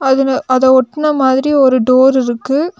அதுல அத ஒட்டுனா மாதிரி ஒரு டோர் இருக்கு.